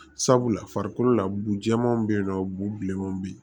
Sabula farikolo la bu jɛman be yen nɔ bu bilenmanw be yen